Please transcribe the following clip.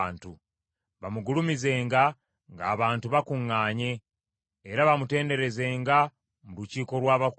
Bamugulumizenga ng’abantu bakuŋŋaanye, era bamutenderezenga mu lukiiko lw’abakulu.